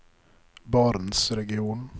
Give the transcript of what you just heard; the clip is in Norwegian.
barentsregionen